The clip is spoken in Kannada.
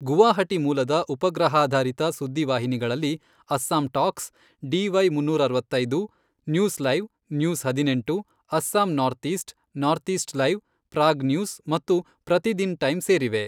ಗುವಾಹಟಿ ಮೂಲದ ಉಪಗ್ರಹಾಧಾರಿತ ಸುದ್ದಿ ವಾಹಿನಿಗಳಲ್ಲಿ ಅಸ್ಸಾಂ ಟಾಕ್ಸ್, ಡಿ.ವೈ ಮುನ್ನೂರ ಅರವತ್ತೈದು, ನ್ಯೂಸ್ ಲೈವ್, ನ್ಯೂಸ್ ಹದಿನೆಂಟು, Assam north east, north east live, Prag news ಮತ್ತು ಪ್ರತಿದಿನ್ ಟೈಮ್ ಸೇರಿವೆ.